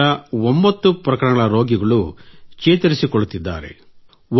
ಇನ್ನುಳಿದ 9 ಪ್ರಕರಣಗಳ ರೋಗಿಗಳು ಚೇತರಿಸಿಕೊಳ್ಳುತ್ತಿದ್ದಾರೆ